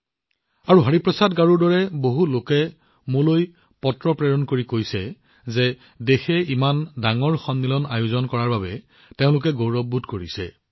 আজি হৰিপ্ৰসাদ গাৰুৰ দৰে বহুলোকে মোলৈ পত্ৰ প্ৰেৰণ কৰি কৈছে যে দেশখনত ইমান ডাঙৰ সন্মিলন আয়োজন কৰা দেখি তেওঁলোকৰ হৃদয় গৌৰৱেৰে ফুলি উঠিছে